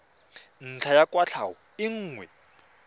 ntlha ya kwatlhao e nngwe